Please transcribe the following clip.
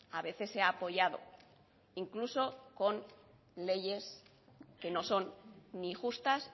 a veces se ha apoyado incluso con leyes que no son ni justas